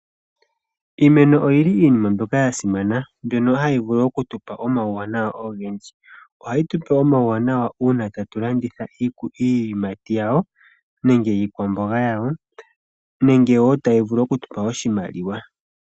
Iimeno oya simana moNamibia. Oyina omawuwanawa ogendji. Ohayi tu pe omawuwanawa uuna tatu landitha iiyimati yawo nenge iikwamboga. Otayi vulu oku tu pa oshimaliwa.